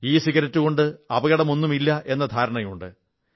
ഇസിഗരറ്റുകൊണ്ട് അപകടമൊന്നുമില്ലെന്ന തെറ്റിദ്ധാരയുണ്ട്